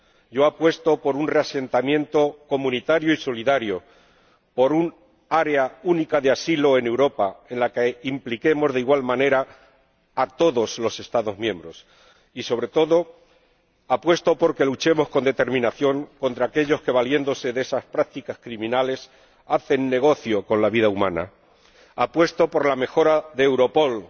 Yo apuesto por un reasentamiento comunitario y solidario, por un área única de asilo en Europa, en la que impliquemos de igual manera a todos los Estados miembros y, sobre todo, apuesto por que luchemos con determinación contra aquellos que, valiéndose de esas prácticas criminales, hacen negocio con la vida humana. Apuesto por la mejora de Europol,